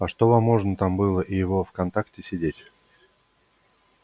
а что вам можно там было и во вконтакте сидеть